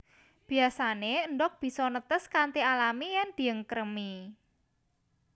Biyasané endhog bisa netes kanthi alami yèn diangkremi